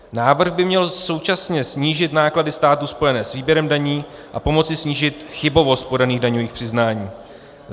Návrh by měl současně snížit náklady státu spojené s výběrem daní a pomoci snížit chybovost podaných daňových přiznání.